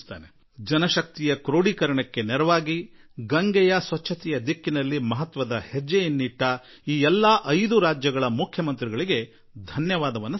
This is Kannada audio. ಜನಶಕ್ತಿಯನ್ನು ರೂಢಿಸಿ ಗಂಗಾ ನದಿಯ ನಿರ್ಮಲೀಕರಣದಲ್ಲಿ ಒಂದು ಮಹತ್ವದ ಹೆಜ್ಜೆ ಇಟ್ಟ ಆ ಎಲ್ಲಾ 5 ರಾಜ್ಯಗಳ ಮುಖ್ಯಮಂತ್ರಿಗಳಿಗೂ ನಾನು ಧನ್ಯವಾದ ಹೇಳುವೆ